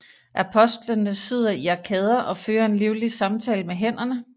Apostlene sidder i arkader og fører en livlig samtale med hænderne